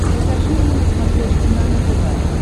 покажи мне на смотрешке нано тв